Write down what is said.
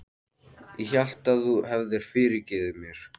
Ég hélt að þú hefðir fyrirgefið mér.